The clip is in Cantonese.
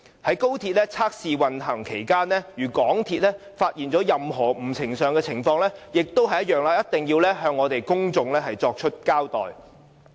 在高鐵測試運行期間，如港鐵公司發現任何不尋常的情況，也一定要向公眾作出交代。